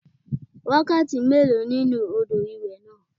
Wákàtí méèló nínú odò ìwẹ̀ náà?